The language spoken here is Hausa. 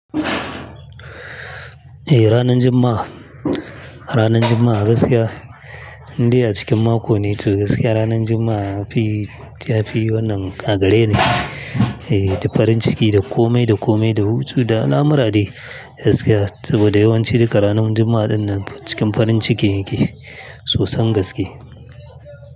Eh ranar Juma'a, ranar Juma'a gaskiya, in dai a cikin mako ne to gaskiya ranar Juma'a fi, tafi wannan a gare ne. Eh, da farin ciki, da komai da komai, da hutu, da al'amur dai gaskiya saboda yawanci duka ranar Juma'a dinnan cikin farin ciki nake sosan gaske.